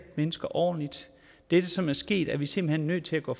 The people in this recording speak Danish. mennesker ordentligt det som er sket er vi simpelt hen nødt til at gå